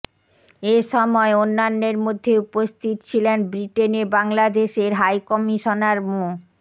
এ সময় অন্যান্যের মধ্যে উপস্থিত ছিলেন ব্রিটেনে বাংলাদেশের হাইকমিশনার মো